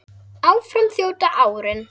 Áfram þjóta árin